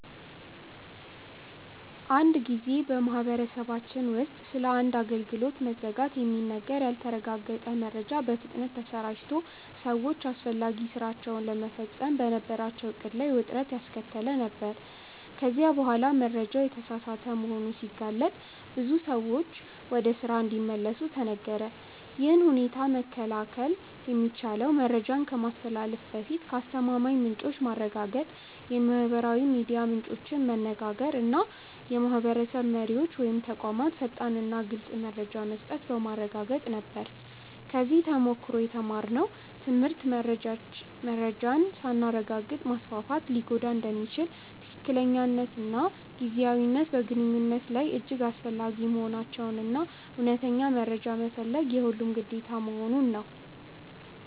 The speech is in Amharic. አንድ ጊዜ በማህበረሰባችን ውስጥ ስለ አንድ አገልግሎት መዘጋት የሚነገር ያልተረጋገጠ መረጃ በፍጥነት ተሰራጭቶ ሰዎች አስፈላጊ ሥራቸውን ለመፈጸም በነበራቸው ዕቅድ ላይ ውጥረት ያስከተለ ነበር፤ ከዚያ በኋላ መረጃው የተሳሳተ መሆኑ ሲገለጥ ብዙ ሰዎች ወደ ስራ እንዲመለሱ ተነገረ። ይህን ሁኔታ መከላከል የሚቻለው መረጃን ከማስተላለፍ በፊት ከአስተማማኝ ምንጮች ማረጋገጥ፣ የማህበራዊ ሚዲያ ምንጮችን መነጋገር እና የማህበረሰብ መሪዎች ወይም ተቋማት ፈጣንና ግልፅ መረጃ መስጠት በማረጋገጥ ነበር። ከዚህ ተሞክሮ የተማርነው ትምህርት መረጃን ሳናረጋግጥ ማስፋፋት ሊጎዳ እንደሚችል፣ ትክክለኛነትና ጊዜያዊነት በግንኙነት ላይ እጅግ አስፈላጊ መሆናቸውን እና እውነተኛ መረጃ መፈለግ የሁሉም ግዴታ መሆኑን ነው።